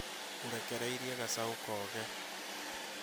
ũrekereirie gacau kooge